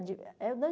De é o